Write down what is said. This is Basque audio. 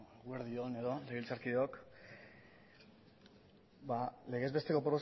eguerdi on legebiltzarkideok ba legezbesteko